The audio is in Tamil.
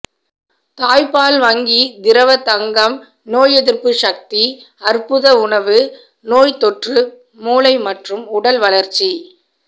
தாய்ப்பால் வங்கிதிரவத்தங்கம் நோய் எதிர்ப்புச் சக்தி அற்புத உணவு நோய்த் தொற்று மூளை மற்றும் உடல் வளர்ச்சி